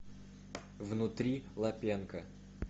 внутри лапенко